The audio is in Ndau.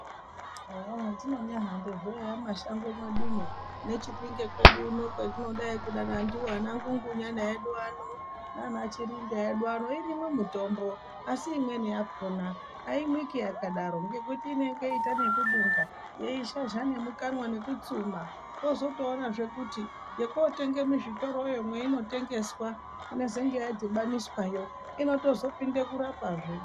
Eyaa hatinonyahambazvo eya mumashango mwedumwo neChipinge kwedu uno kwatinodai dangani ndiwona anaNgungunyana nanaChirinda edu ano irimwo mitombo asi imweni yakona aimwiki yakadaro ngekuti inonga yoita nekudunga yeizhazha nemukanwa nekutsuma wozotoona zvekuti yookotenge muzvitoroyo mweinotengeswa inezenge yadhibaniswayo inozotopinde kurapa zve.